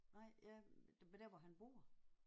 Nej ja men der hvor han bor